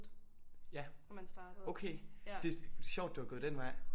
Ja okay det sjovt du har gået den vej